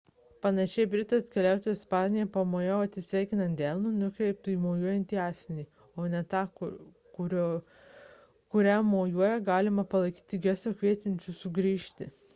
panašiai britas keliautojas ispanijoje pamojavimą atsisveikinant delnu nukreiptu į mojuojantį asmenį o ne tą kuriam mojuojama gali palaikyti gestu kviečiančiu grįžti